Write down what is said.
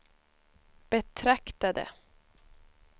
betraktade